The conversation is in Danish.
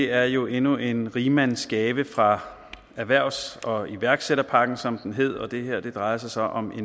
er jo endnu en rigmandsgave fra erhvervs og iværksætterpakken som den hedder og det her drejer sig om